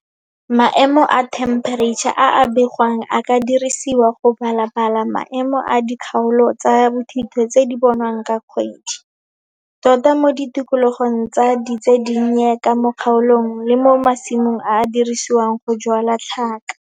Maemo a thempereitšha a a begwang a ka dirisiwa go balabala maemo a dikgaolo tsa bothito tse di bonwang ka kgwedi, tota mo ditikologo tsa ditsedinnye ka mo kgaolong le mo masimong a a diriswang go jwala tlhaka.